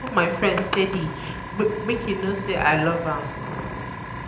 i dey hug my friend steady make e know sey i love am.